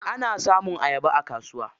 Ana samun ayaba a kasuwa.